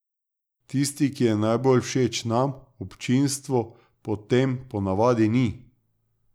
Tisti, ki je najbolj všeč nam, občinstvu potm ponavadi ni.